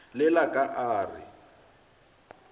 le la ka a re